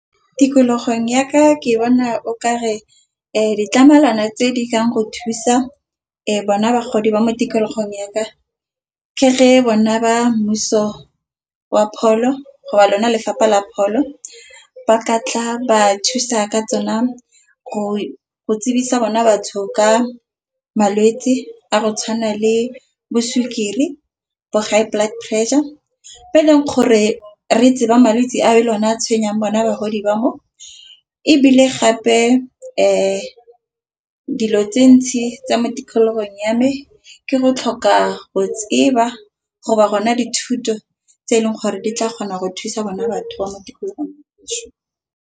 Tikologong ya ka ke bona o kare ditlamelwana tse di kang go thusa e bona bagodi ba mo tikologong ya ka. Ke ge bona ba mmuso wa pholo go ba lona Lefapha la Pholo ba ka tla ba thusa ka tsona go tsebisa bona batho ka malwetsi a go tshwana le bo sukiri, bo high blood pressure. Mo e leng gore re etse ba malwetse a e a tshwenyang bona bagodi ba mo, ebile gape dilo tse ntsi tsa mo tikologong ya me. Ke go tlhoka go tseba go ba go na dithuto tse eleng gore di tla kgona go thusa bona batho ba mo tikologong.